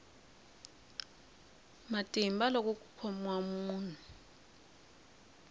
matimba loko ku khomiwa munhu